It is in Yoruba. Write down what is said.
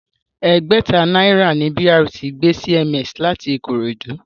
Ẹgbẹ̀ta náírà ni BRT gbé CMS láti Ikorodu